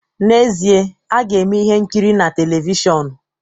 N'ezie, a ga-eme ihe nkiri a na televishọn